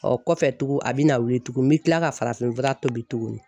Ɔ kɔfɛ tuguni a bɛna wuli tugun n bɛ kila ka farafinfura tobi tuguni